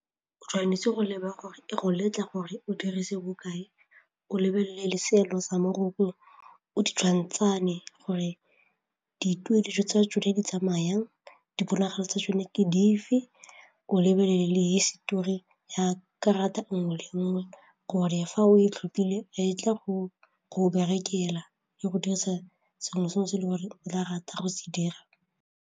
O tshwanetse go leba gore e go letla gore o dirise bokae, o lebelele seelo sa moroko o ditshwantshanye gore dituo dijo tsa tsone di tsamaya jang, diponagalo tsa yone fa o lebelele le histori ya karata nngwe le nngwe gonne fa o tlhophile e tla go go berekela, ya go dirisa sengwe le sengwe se e le gore o ka rata go se dira.